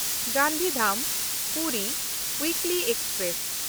Gandhidham Puri weekly express